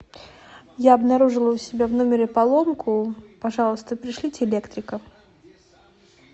я обнаружила у себя в номере поломку пожалуйста пришлите электрика